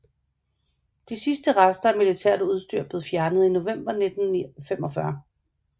De sidste rester af militært udstyr blev fjernet i november 1945